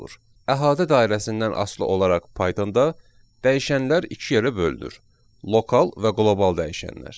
Əhatə dairəsindən asılı olaraq Pythonda dəyişənlər iki yerə bölünür: lokal və qlobal dəyişənlər.